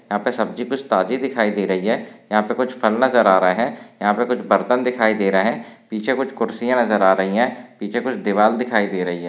यहाँ पे सब्जी कुछ ताजी दिखाई दे रही है यहाँ पे कुछ फल नजर आ रहे है यहाँ पे कुछ बर्तन दिखाई दे रहे है नीचे कुछ खुर्चिया नजर आ रही है पीछे कुछ दीवार दिखाई दे रही है।